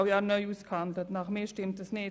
Das stimmt nicht.